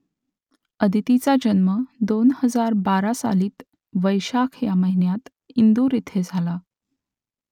आदितीचा जन्म दोन हजार बारा सालातील वैशाख या महिन्यात इंदूर येथे झाला